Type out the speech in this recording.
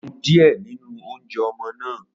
Mo mu díẹ̀ nínú oúnjẹ ọmọ náà.